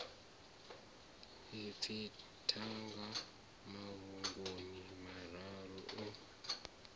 ipfi thanga mafhungoni mararu o